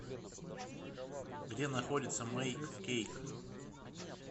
где находится мэйк кейк